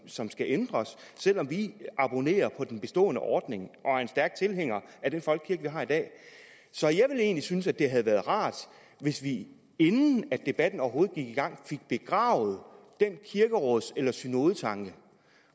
som skal ændres selv om vi abonnerer på den bestående ordning og er en stærk tilhænger af den folkekirke vi har i dag så jeg ville egentlig synes at det havde været rart hvis vi inden debatten overhovedet gik i gang fik begravet den kirkeråds eller synodetanke